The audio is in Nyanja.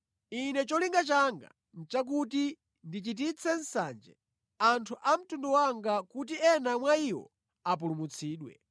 Ine cholinga changa nʼchakuti ndichititse nsanje anthu a mtundu wanga kuti ena mwa iwo apulumutsidwe.